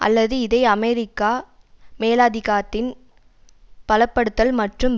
அல்லது இதை அமெரிக்க மேலாதிக்கத்தின் பலப்படுத்தல் மற்றும்